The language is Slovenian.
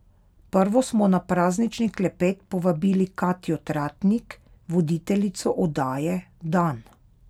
Prvo smo na praznični klepet povabili Katjo Tratnik, voditeljico oddaje Dan.